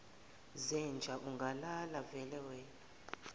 zenja ungalala velewena